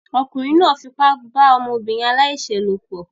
Ọkùnrin náà fipá bá ọmọbìnrin aláìṣẹ̀ lòpọ̀